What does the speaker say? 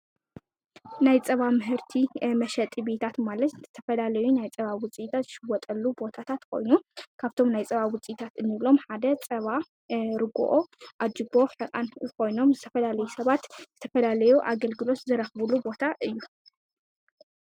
ናይ ፃባ ምሕርቲ መሸጢ ቤታት ማለት ዝተፈላለዩ ናይ ጸባ ውፂእታት ዝሽወጠሉ ቦታታት ኮይኑ ካብቶም ናይ ጸባ ውፂታት እንብሎም ሓደ ጸባ፣ ርጕኦ፣ ኣጅቦ፣ ሕቋን ኾይኖም ዝተፈላለዩ ሰባት ዝተፈላለዮ ኣገልግሎት ዝረኽቡሉ ቦታ እዩ።